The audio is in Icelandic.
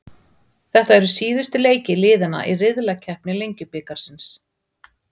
Þetta eru síðustu leikir liðanna í riðlakeppni Lengjubikarsins.